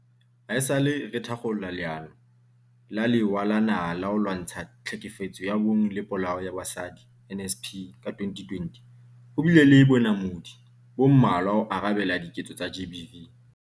Haesale re thakgola Leano la Lewa la Naha la ho Lwa ntsha Tlhekefetso ya Bong le Polao ya Basadi, NSP, ka 2020, ho bile le bonamodi bo mmalwa ho arabela diketso tsa GBV.